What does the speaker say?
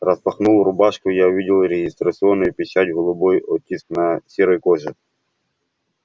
распахнул рубашку и я увидел регистрационную печать голубой оттиск на серой коже